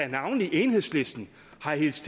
navnlig enhedslisten har hilst